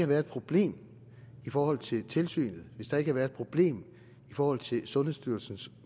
været et problem i forhold til tilsynet hvis der ikke havde været et problem i forhold til sundhedsstyrelsens